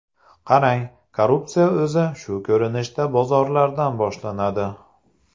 Qarang, korrupsiya o‘zi shu ko‘rinishda bozorlardan boshlanadi.